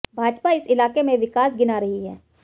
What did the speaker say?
भाजपा इस इलाके में विकास गिना रही है